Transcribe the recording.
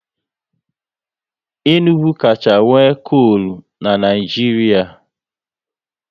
Enugu kacha nwe kolu n'Naijiria